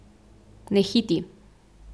Ne hiti.